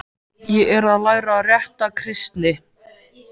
Ég er að læra rétta kristni.